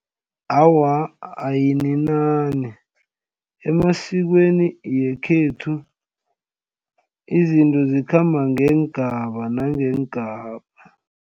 Awa, ayininani emasikweni yekhethu izinto zikhamba ngeengaba nangeengaba.